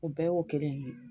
O bɛɛ y'o kelen in ye.